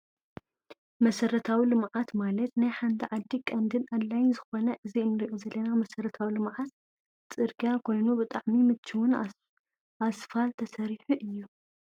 መሰራዊ ልምዓት ማለት ናይ ሓንቲ ዓዲ ቀንድን ኣድላይን ስለዝኮነ እዚ እንሪኦ ዘለና መሰረታዊ ልምዓት ፅርግያ ኮይኑ ብጣዕሚ ምችውን ኣስፋል ተሰሪሑ እዩ።